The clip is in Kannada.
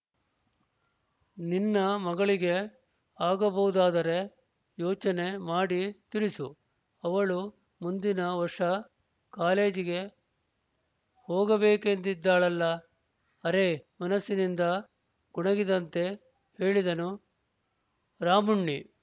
ನಿನ್ನ ಮಗಳಿಗೆ ಆಗಬಹುದಾದರೆ ಯೋಚನೆ ಮಾಡಿ ತಿಳಿಸು ಅವಳು ಮುಂದಿನ ವರ್ಷ ಕಾಲೇಜಿಗೆ ಹೋಗಬೇಕೆಂದಿದ್ದಾಳಲ್ಲ ಅರೆ ಮನಸ್ಸಿನಿಂದ ಗೊಣಗಿದಂತೆ ಹೇಳಿದನು ರಾಮುಣ್ಣಿ